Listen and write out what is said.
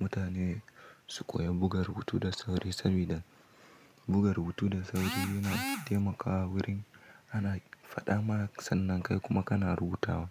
mutane su koya buga rubutu da sauri sabida, buga rubutu da sauri yana taimakawa wurin ana faɗa ma sannan kai kuma kana rubutawa.